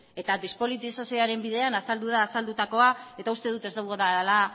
eta despolitizazioaren bidean azaldu da azaldutakoa eta uste dut ez dudala